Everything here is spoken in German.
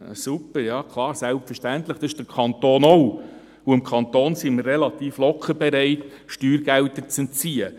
Super, klar, selbstverständlich, der Kanton tut dies auch, und wir sind recht schnell bereit, dem Kanton Steuergelder zu entziehen.